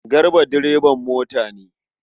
Garba direban mota ne.